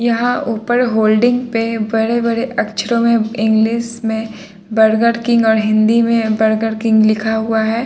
यहां ऊपर होल्डिंग पे बड़े-बड़े अक्षरों में इंग्लिश में बर्गर किंग और हिंदी में बर्गर किंग लिखा हुआ है।